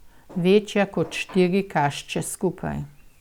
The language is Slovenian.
Večja kot štiri kašče skupaj.